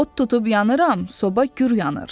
Ot tutub yanıram, soba gür yanır.